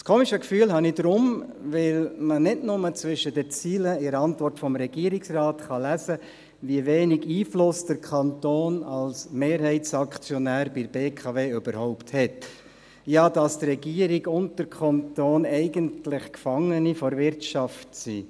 Das eigenartige Gefühl habe ich, weil man nicht nur zwischen den Zeilen in der Antwort des Regierungsrates lesen kann, wie wenig Einfluss der Kanton als Mehrheitsaktionär auf die BKW hat, sodass die Regierung und der Kanton sogar quasi Gefangene der Wirtschaft sind.